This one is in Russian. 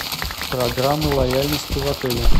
программы лояльности в отеле